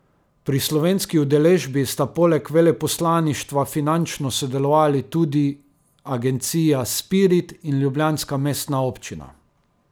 Pri slovenski udeležbi sta poleg veleposlaništva finančno sodelovali tudi agencija Spirit in ljubljanska mestna občina.